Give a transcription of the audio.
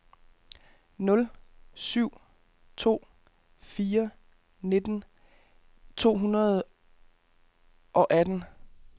nul syv to fire nitten to hundrede og atten